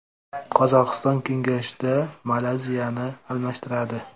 Qozog‘iston kengashda Malayziyani almashtiradi.